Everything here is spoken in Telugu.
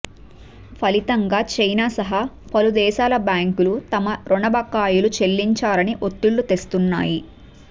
ఫలితంగా చైనా సహా పలు దేశాల బ్యాంకులు తమ రుణ బకాయిలు చెల్లించాలని ఒత్తిళ్లు తెస్తున్నాయి